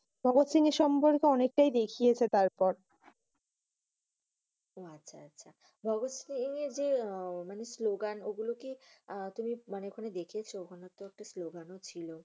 ভগৎ সিং এর সম্পর্কে অনেকটাই দেখিয়েছে তারপর। আহ অহ আচ্ছা আচ্ছা। ভগৎ সিং এর যে আহ মানি স্লোগান ওগুলি কি আহ তুমি মানি ওখানে দেখিয়েছে? উনারতো অনেক স্লোগান ও ছিল।